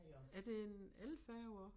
Er det en elfærge også